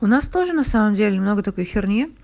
у нас тоже на самом деле много такой херни